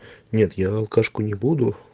нет я алкашку не буду